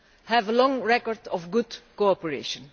have a long record of good cooperation.